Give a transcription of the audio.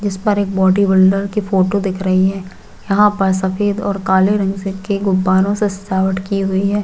जिस पर एक बॉडी बिल्डर की फोटो दिख रही है यहाँ पर सफ़ेद और काले रंग से गुब्बारों से सजावट की हुई है।